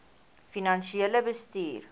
finansiële bestuur